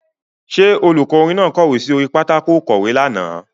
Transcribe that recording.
Ṣé olùkọ́ orin náà kọ̀wé sí orí pátákó ìkọ̀wé lánàá.